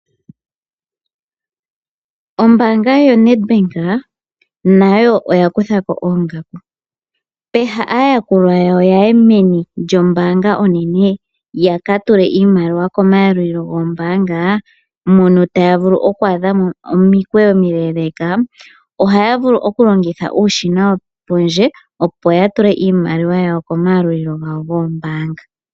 Ombaanga yoNedbank nayo oya kuthako oongaku. Peha aayakulwa yawo ya ye meni lyombaanga onene ya ka tule iimaliwa komayalulilo goombaanga mono taya vulu oku adha omikweyo omile, ohaya vulu oku longitha uushina wopondje opo ya tule iimaliwa yawo komayalulilo gawo goombaanga.